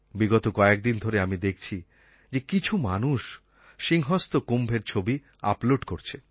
বিগত কয়েকদিন ধরে আমি দেখছি যে কিছু মানুষ সিংহস্ত কুম্ভের ছবি আপলোড করছে